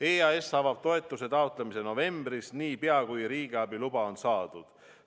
EAS avab toetuse taotlemise novembris, niipea kui riigiabi luba on saadud.